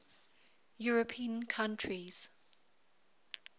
european countries